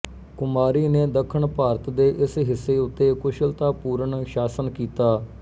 ਕੁਮਾਰੀ ਨੇ ਦੱਖਣ ਭਾਰਤ ਦੇ ਇਸ ਹਿੱਸੇ ਉੱਤੇ ਕੁਸ਼ਲਤਾ ਪੂਰਣ ਸ਼ਾਸਨ ਕੀਤਾ